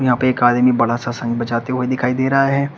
यहां पे एक आदमी बड़ा सा शंख बजाते हुए दिखाई दे रहा है।